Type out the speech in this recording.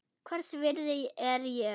Hvers virði er ég?